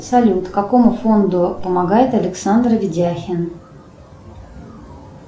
салют какому фонду помогает александр видяхин